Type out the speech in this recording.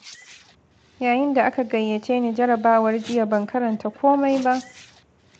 Yayin da aka gayyace ni jarabawar jiya ban karanta komai ba.